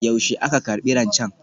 Yaushe aka karbi rancen?